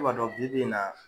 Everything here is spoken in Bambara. Ne ba dɔn bi bi in na.